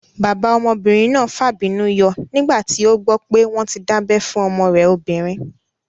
Bàbá ọmọbìnrin náà fàbínú yọ nígbà tí ó gbọ́ pé wọ́n tí dábẹ́ fún ọmọ rẹ̀ obìnrin